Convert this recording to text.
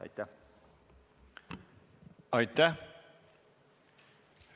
Aitäh!